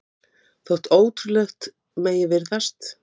Gissur: En hvenær er búist við að þessari viðgerð verði lokið?